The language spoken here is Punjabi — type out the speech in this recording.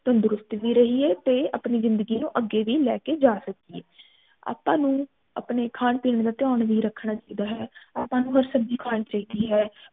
ਤੰਦਰੁਸਤ ਵੀ ਰਹੀਏ ਤੇ ਅਪਣੀ ਜਿੰਦਗੀ ਨੂੰ ਅਗੇ ਵੀ ਲੈ ਕੇ ਜਾ ਸਕੀਏ ਆਪਾ ਨੂੰ ਅਪਣੇ ਖਾਨ ਪਿੰਨ ਦਾ ਧਯਾਨ ਵੀ ਰੱਖਣਾ ਚਾਹੀਦਾ ਹੈ ਆਪਾ ਨੂੰ ਹਰ ਸਬਜ਼ੀ ਖਾਣੀ ਚਾਹੀਦੀ ਹੈ